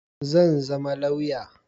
Zan zama lauya.